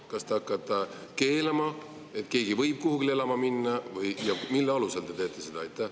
Kas te hakkate keelama, et keegi ei või kuhugi elama minna, ja mille alusel te teete seda?